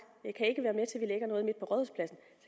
at